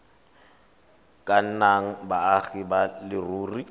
ka nnang baagi ba leruri